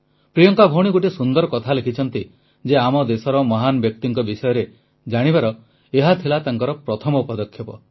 ପ୍ରିୟଙ୍କା ଗୋଟିଏ ସୁନ୍ଦର କଥା ଲେଖିଛନ୍ତି ଯେ ଆମ ଦେଶର ମହାନ ବ୍ୟକ୍ତିଙ୍କ ବିଷୟରେ ଜାଣିବାର ଏହା ଥିଲା ତାଙ୍କର ପ୍ରଥମ ପଦକ୍ଷେପ